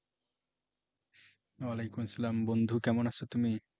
ওয়ালেকুম সালাম বন্ধু কেমন আছ তুমি?